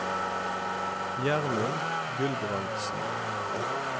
Gjermund Gulbrandsen